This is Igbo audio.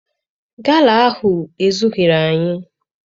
Gala ahụ ezughịrị anyị.